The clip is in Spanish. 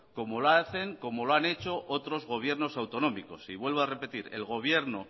como lo hacen como lo han hecho otros gobiernos autonómicos y vuelvo a repetir el gobierno